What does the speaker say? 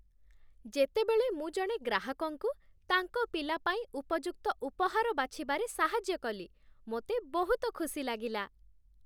ଯେତେବେଳେ ମୁଁ ଜଣେ ଗ୍ରାହକଙ୍କୁ ତାଙ୍କ ପିଲା ପାଇଁ ଉପଯୁକ୍ତ ଉପହାର ବାଛିବାରେ ସାହାଯ୍ୟ କଲି, ମୋତେ ବହୁତ ଖୁସି ଲାଗିଲା।